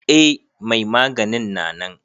Eh mai maganin na nan.